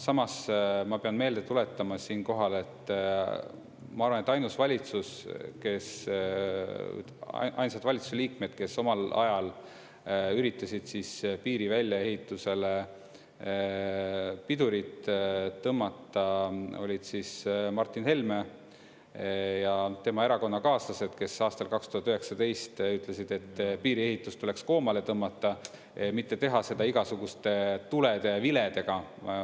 Ma pean meelde tuletama siinkohal, et ainsad valitsuse liikmed, kes omal ajal üritasid piiri väljaehitusele pidurit tõmmata, olid Martin Helme ja tema erakonnakaaslased, kes aastal 2019 ütlesid, et piiriehitus tuleks koomale tõmmata, mitte teha seda igasuguste tulede ja viledega.